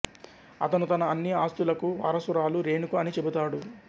అతను తన అన్ని ఆస్తులకు వారసురాలు రేణుక అని చెబుతాడు